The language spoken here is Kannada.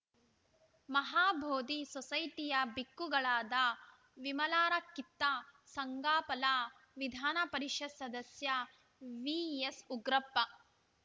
ಮಹಾಬೋದಿ ಸೊಸೈಟಿಯ ಭಿಕ್ಕುಗಳಾದ ವಿಮಲಾರಕ್ಕಿತ ಸಂಗಾಪಲ ವಿಧಾನ ಪರಿಷತ್‌ ಸದಸ್ಯ ವಿಎಸ್‌ಉಗ್ರಪ್ಪ